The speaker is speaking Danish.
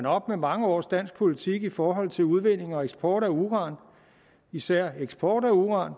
op med mange års dansk politik i forhold til udvinding og eksport af uran især eksport af uran